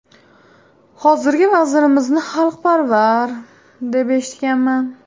Hozirgi vazirimizni xalqparvar, deb eshitganman.